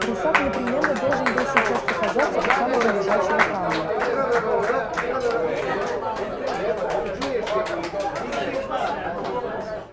русак непременно должен был сейчас показаться у самого лежачего камня